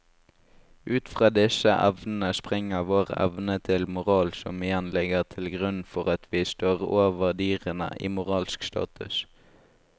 Ut fra disse evnene springer vår evne til moral som igjen ligger til grunn for at vi står over dyrene i moralsk status.